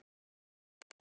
Stundum fórum við saman.